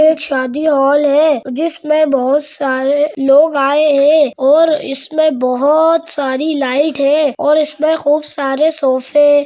एक शादी हॉल है जिसमें बहुत सारे लोग आए हैं और इसमें बहुत सारी लाइट है और इसमें खूब सारे सोफे --